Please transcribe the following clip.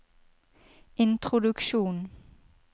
introduksjon